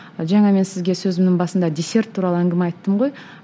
жаңа мен сізге сөзімнің басында десерт туралы әңгіме айттым ғой